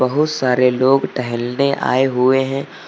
बोहोत सारे लोग टहलने आए हुए हैं।